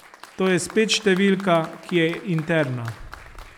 To je spet številka, ki je interna.